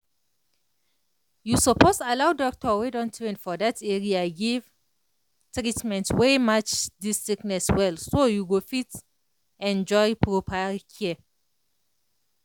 you suppose allow doctor wey don train for that area give treatment wey match the sickness well so you go fit enjoy proper care.